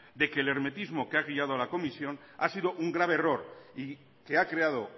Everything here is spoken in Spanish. de que el hermetismo que ha guiado a la comisión ha sido un grave error y que ha creado